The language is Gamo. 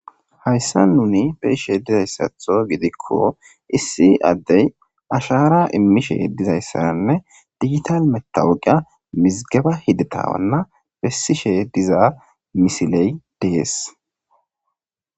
Hayisan nun be'she dizaystho gidiko issi adey ashara imishe dizayisane dishali matoqeya misigeba hideta besishe dizayisa misileyi dees